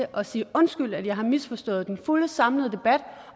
at sige undskyld at jeg har misforstået den fulde samlede debat